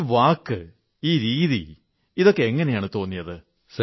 ഈ വാക്ക് ഈ രീതി എങ്ങനെയാണ് തോന്നിയത്